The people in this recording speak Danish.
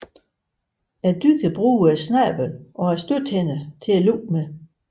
Dyret bruger snablen og stødtænderne til at løfte med